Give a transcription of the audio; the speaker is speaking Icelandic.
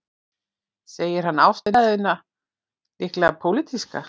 Segir hann ástæðuna líklega pólitíska